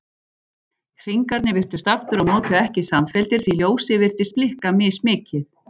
Hringarnir virtust aftur á móti ekki samfelldir því ljósið virtist blikka mismikið.